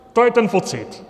To je ten pocit.